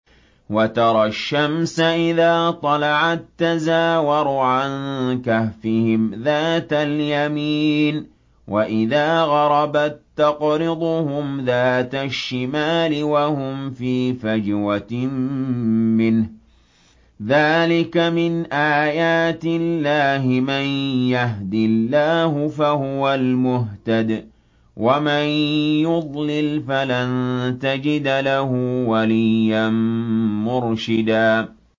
۞ وَتَرَى الشَّمْسَ إِذَا طَلَعَت تَّزَاوَرُ عَن كَهْفِهِمْ ذَاتَ الْيَمِينِ وَإِذَا غَرَبَت تَّقْرِضُهُمْ ذَاتَ الشِّمَالِ وَهُمْ فِي فَجْوَةٍ مِّنْهُ ۚ ذَٰلِكَ مِنْ آيَاتِ اللَّهِ ۗ مَن يَهْدِ اللَّهُ فَهُوَ الْمُهْتَدِ ۖ وَمَن يُضْلِلْ فَلَن تَجِدَ لَهُ وَلِيًّا مُّرْشِدًا